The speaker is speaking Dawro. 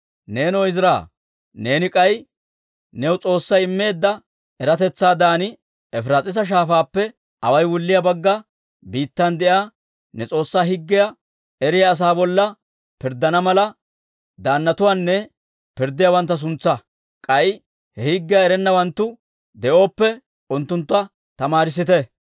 «Neenoo Izira, neeni k'ay, new S'oossay immeedda eratetsaadan Efiraas'iisa Shaafaappe away wulliyaa Bagga Biittan de'iyaa ne S'oossaa Higgiyaa eriyaa asaa bolla pirddana mala, daannatuwaanne pirddiyaawantta suntsaa. K'ay he higgiyaa erennawanttu de'oppe, unttunttu tamaarissite.